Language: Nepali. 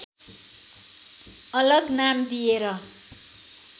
अलग नाम दिएर